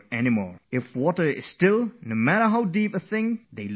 If the water is still, then no matter how deep it is, everything at the bottom can be seen